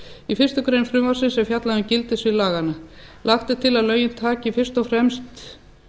í fyrstu grein frumvarpsins er fjallað um gildissvið laganna lagt er til að lögin taki fyrst og fremst